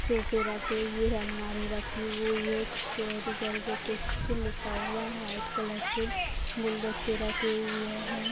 सोफे रखे हुए है अलमारी रखी हुई है कैरी करके कुछ लिखा हुआ है वाइट कलर से गुलदस्ते रखे हुए हैं।